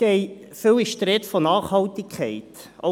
– Oft ist von Nachhaltigkeit die Rede.